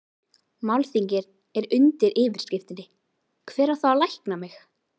Málþingið er undir yfirskriftinni Hver á þá að lækna mig?